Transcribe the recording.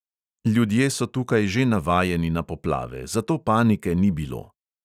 Ljudje so tukaj že navajeni na poplave, zato panike ni bilo.